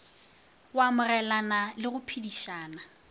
go amogelana le go phedišana